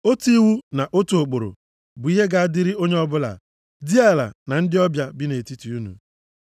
Otu iwu na otu ụkpụrụ bụ ihe ga-adịrị onye ọbụla, diala na ndị ọbịa bi nʼetiti unu.’ ”